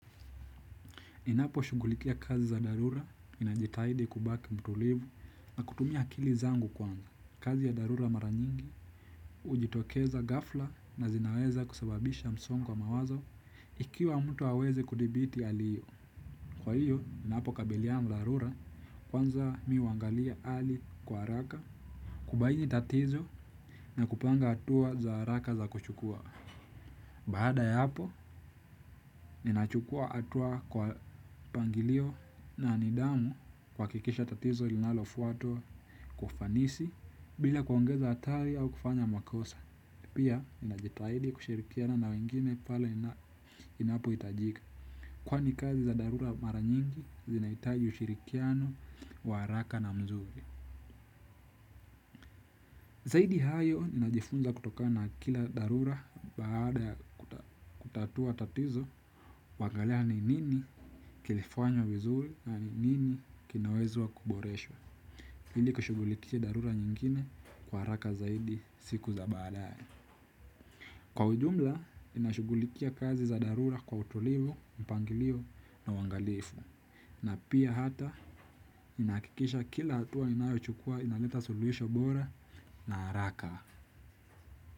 Ninapo shughulikia kazi za dharura ninajitahidi kubaki mtulivu na kutumia akili zangu kwanza. Kazi ya dharura mara nyingi hujitokeza ghafla na zinaweza kusababisha msongo wa mawazo ikiwa mtu hawezi kudhibiti hali hiyo. Kwa hiyo, ninapo kabiliana dharura kwanza mimi huangalia hali kwa haraka. Kubaini tatizo na kupanga hatua za haraka za kuchukua. Baada ya hapo, ninachukua hatua kwa mpangilio na nidhamu kuhakikisha tatizo linalofuatwa kufanisi bila kuongeza hatari au kufanya makosa. Pia, ninajitahidi kushirikiana na wengine pale inapo hitajika. Kwani kazi za dharura mara nyingi, zinahitaji ushirikiano wa haraka na mzuri. Zaidi ya hayo najifunza kutoka na kila dharura baada ya kutatua tatizo wangalani nini kilifanywa vizuri na nini kinawezwa kuboreshwa. Ili kushughulikia dharura nyingine kwa haraka zaidi siku za baadae. Kwa ujumla, ninashugulikia kazi za dharura kwa utulivu, mpangilio na uangalifu. Na pia hata, ninakikisha kila hatua ninayo chukua inaleta suluhisho bora na haraka.